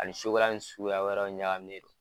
Ani ni suguya wɛrɛ ɲagaminen don.